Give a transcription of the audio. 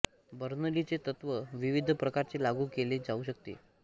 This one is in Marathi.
बर्नौलीचे तत्त्व विविध प्रकारचे लागू केले जाऊ शकते